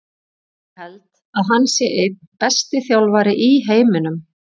Ég held að hann sé einn besti þjálfari í heiminum.